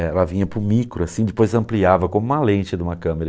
Ela vinha para o micro, assim, depois ampliava como uma lente de uma câmera.